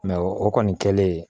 o kɔni kɛlen